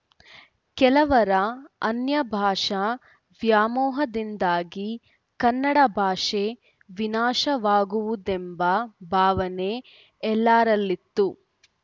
ಕೆಲವರ ಅನ್ಯಭಾಷಾ ವ್ಯಾಮೋಹದಿಂದಾಗಿ ಕನ್ನಡ ಭಾಷೆ ವಿನಾಶವಾಗುವುದೆಂಬ ಭಾವನೆ ಎಲ್ಲರಲ್ಲಿತ್ತು